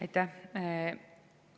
Aitäh!